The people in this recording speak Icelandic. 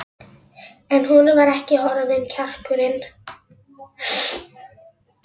En honum var ekki horfinn kjarkurinn.